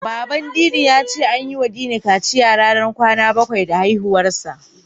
Baban Dini ya ce an yiwa Dini kaciya ranar kwana bakwai da haihuwarsa.